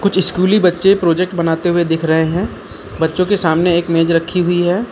स्कूली बच्चे प्रोजेक्ट बनाते हुए दिख रहे हैं बच्चों के सामने एक मेज रखी हुई है।